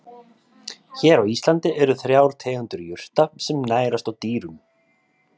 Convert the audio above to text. Hér á Íslandi eru þrjár tegundir jurta sem nærast á dýrum.